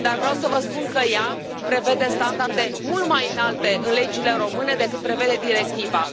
Dar vreau să vă spun că ea prevede standarde mult mai înalte în legile române decât prevede directiva.